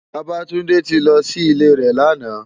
Babatunde ti lò si ilé rè làná